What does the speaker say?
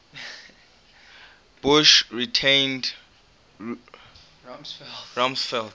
bush retained rumsfeld